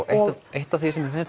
eitt af því sem mér